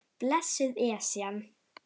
Blessuð Esjan.